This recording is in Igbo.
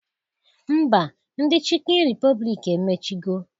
Ḿbà, ndị Chịkịn Ripọblik emechigo.